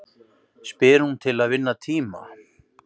spyr hún til að vinna tíma.